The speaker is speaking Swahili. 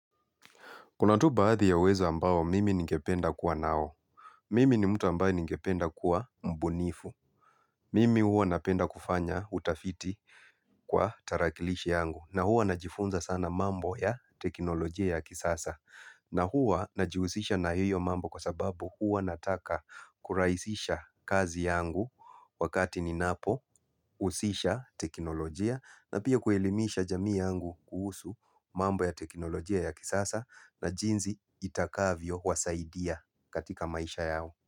Kuna tu baadhi ya uwezo ambao mimi ningependa kuwa nao. Mimi ni mtu ambaye ningependa kuwa mbunifu. Mimi huwa napenda kufanya utafiti kwa tarakilishi yangu. Na huwa najifunza sana mambo ya teknolojia ya kisasa. Na huwa najihusisha na hiyo mambo kwa sababu huwa nataka kurahisisha kazi yangu wakati ninapo husisha teknolojia. Na pia kuelimisha jamii yangu kuhusu mambo ya teknolojia ya kisasa na jinsi itakavyo wasaidia katika maisha yao.